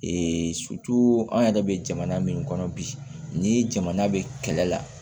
an yɛrɛ bɛ jamana min kɔnɔ bi ni jamana bɛ kɛlɛ la